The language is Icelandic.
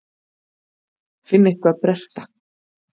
Finn eitthvað bresta.